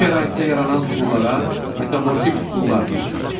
Bu şəraitdə yaranan süxurlara metamorfik süxurlar deyilir.